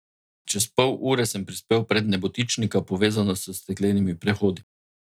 Čez pol ure sem prispel pred nebotičnika, povezana s steklenimi prehodi.